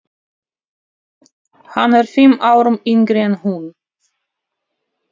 Hann er fimm árum yngri en hún.